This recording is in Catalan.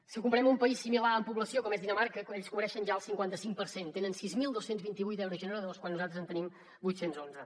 si ho comparem amb un país similar en població com és dinamarca ells cobreixen ja el cinquanta cinc per cent tenen sis mil dos cents i vint vuit aerogeneradors quan nosaltres en tenim vuit cents i onze